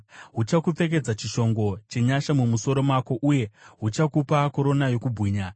Huchakupfekedza chishongo chenyasha mumusoro mako, uye huchakupa korona yokubwinya.”